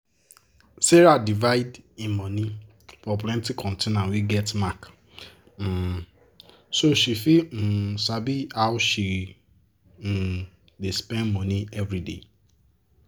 sarah divide e money for plenti container wey get mark um so she fit um sabi how she um dey spend money everyday.